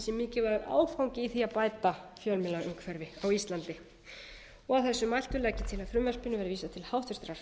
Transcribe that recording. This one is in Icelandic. sé mikilvægur áfangi í því að bæta fjölmiðlaumhverfi á íslandi að þessu mæltu legg ég til að frumvarpinu verði vísað til háttvirtrar